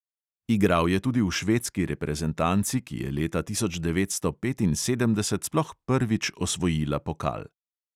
Igral je tudi v švedski reprezentanci, ki je leta tisoč devetsto petinsedemdeset sploh prvič osvojila pokal.